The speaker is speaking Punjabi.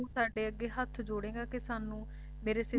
ਵੀ ਤੂੰ ਸਾਡੇ ਅੱਗੇ ਹੱਥ ਜੋੜੇਂਗਾ ਕਿ ਸਾਨੂੰ ਮੇਰੇ ਸਰ ਤੇ